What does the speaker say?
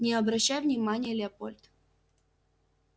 не обращай внимания леопольд